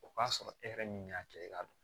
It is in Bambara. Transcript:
O k'a sɔrɔ e yɛrɛ min y'a kɛ i ka dɔn